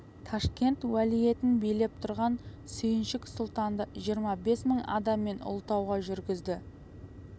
ташкент уәлиетін билеп тұрған сүйіншік сұлтанды жиырма бес мың адаммен ұлытауға жүргізді